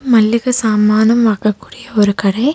மல்லிக சாமானும் வாங்கக்கூடிய ஒரு கடை.